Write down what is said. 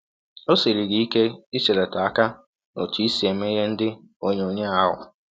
Ọ siri gị ike iselata aka n’ọtụ i si eme ihe ndị ọnyọnyọ ahụ?